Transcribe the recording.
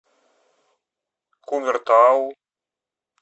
кумертау